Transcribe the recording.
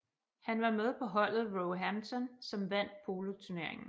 Han var med på holdet Roehampton som vandt poloturneringen